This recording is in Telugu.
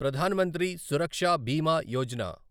ప్రధాన్ మంత్రి సురక్ష బీమా యోజన